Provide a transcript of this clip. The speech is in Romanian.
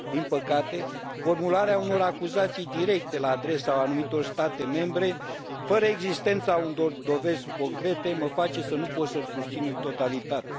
Din păcate, formularea unor acuzații directe la adresa anumitor state membre, fără existența unor dovezi concrete, mă face să nu pot să îl susțin în totalitate.